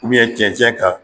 Ubiyɛn cɛncɛn kan